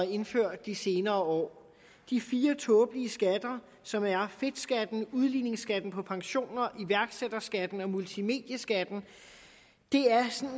indført de senere år de fire tåbelige skatter som er fedtskatten udligningsskatten på pensioner iværksætterskatten og multimedieskatten er